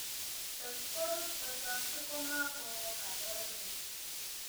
Tot koruut kochokyi komakoo kaborunet